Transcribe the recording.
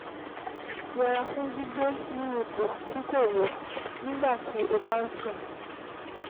Yẹra fún gbígbé ní ipò tí kò yẹ nígbà tí o bá ń sùn